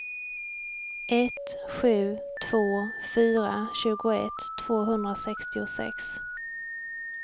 ett sju två fyra tjugoett tvåhundrasextiosex